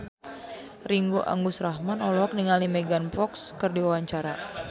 Ringgo Agus Rahman olohok ningali Megan Fox keur diwawancara